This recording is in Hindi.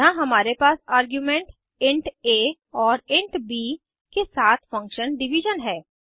यहाँ हमारे पास आर्ग्यूमेंट इंट आ और इंट ब के साथ फंक्शन डिविजन है